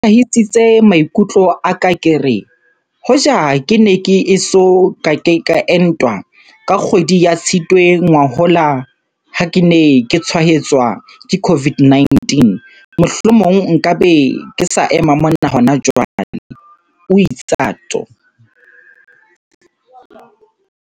Ke hlola ke hlahisitse maikutlo a ka ke re, hoja ke ne ke eso ka ke entwa, ka kgwedi ya Tshitwe ngwahola ha ke ne ke tshwaetswa ke COVID-19, mohlomong nka be ke sa ema mona hona jwale, o itsatso.